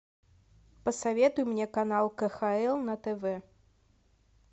посоветуй мне канал кхл на тв